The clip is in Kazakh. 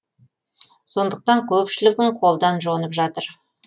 сондықтан көпшілігін қолдан жонып жатыр